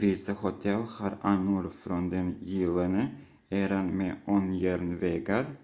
vissa hotell har anor från den gyllene eran med ångjärnvägar